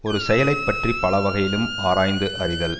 ஒரு செயலைப் பற்றி பல வகையிலும் ஆராய்ந்து அறிதல்